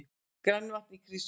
Grænavatn í Krýsuvík.